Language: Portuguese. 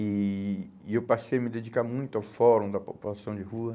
E e eu passei a me dedicar muito ao Fórum da População de Rua.